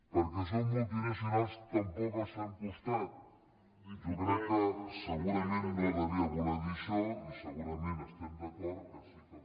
perquè són multi nacionals tampoc els fem costat jo crec que segurament no devia voler dir això i segurament estem d’acord que sí que els